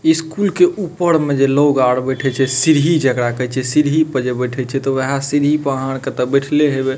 School के ऊपर में जे लोग आर बैठे छै सीढ़ी जकड़ा कहे छै सीढ़ी पर जे बैठे छै ते उहे सीढ़ी पर ते आहां आर के बाएठले हेबे।